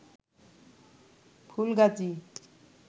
Fulgazi